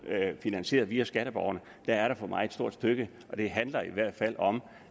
finansiering via skatteborgerne er der for mig et stort stykke og det handler i hvert fald om